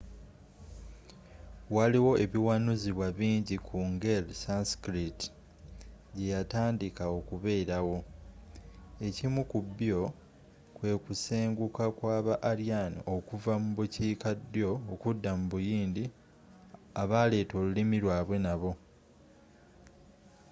waliwo ebiwanuzibwa bingi ku nger sanskrit gyeyatandika okubeerawo ekimu ku byo kwekusenguka kwaba aryan okuva mu bukiika ddyo okudda mu buyindi abaleeta olulimi lwabwe nabo